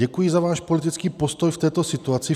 Děkuji za váš politický postoj v této situaci.